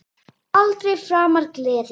Og aldrei framar gleði.